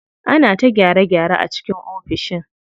Ana ta gyare gyare a cikin ofishin.